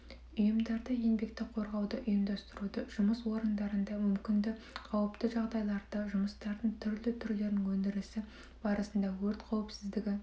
ұйымдарда еңбекті қорғауды ұйымдастыруды жұмыс орындарында мүмкінді қауіпті жағдайларды жұмыстардың түрлі түрлері өндірісі барысында өрт қауіпсіздігі